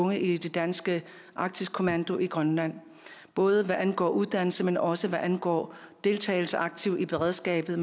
unge i den danske arktisk kommando i grønland både hvad angår uddannelse men også hvad angår deltagelse aktivt i beredskabet